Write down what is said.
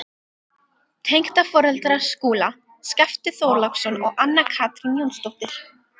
Tengdaforeldrar Skúla, Skafti Þorláksson og Anna Katrín Jónsdóttir.